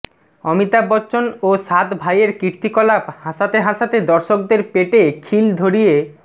অমিতাভ বচ্চন ও সাত ভাইয়ের কীর্তিকলাপ হাসাতে হাসাতে দর্শকদের পেটে খিল ধরিয়ে